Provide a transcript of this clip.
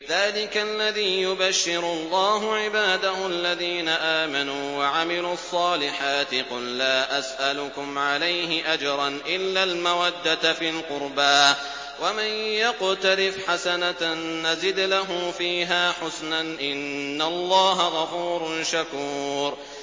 ذَٰلِكَ الَّذِي يُبَشِّرُ اللَّهُ عِبَادَهُ الَّذِينَ آمَنُوا وَعَمِلُوا الصَّالِحَاتِ ۗ قُل لَّا أَسْأَلُكُمْ عَلَيْهِ أَجْرًا إِلَّا الْمَوَدَّةَ فِي الْقُرْبَىٰ ۗ وَمَن يَقْتَرِفْ حَسَنَةً نَّزِدْ لَهُ فِيهَا حُسْنًا ۚ إِنَّ اللَّهَ غَفُورٌ شَكُورٌ